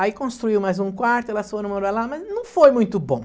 Aí construiu mais um quarto, elas foram morar lá, mas não foi muito bom.